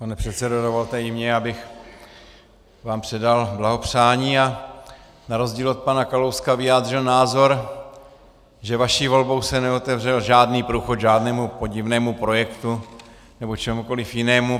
Pane předsedo, dovolte i mně, abych vám předal blahopřání a na rozdíl od pana Kalouska vyjádřil názor, že vaší volbou se neotevřel žádný průchod žádnému podivnému projektu nebo čehokoliv jinému.